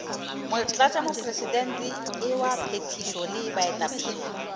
motlatšamopresidente wa phethišo le baetapele